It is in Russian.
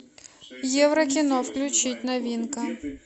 еврокино включить новинка